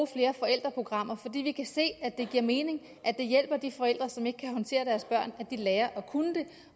flere forældreprogrammer for vi kan se at det giver mening og at det hjælper de forældre som ikke kan håndtere deres børn at lære at kunne det